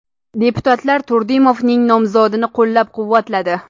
Deputatlar Turdimovning nomzodini qo‘llab-quvvatladi.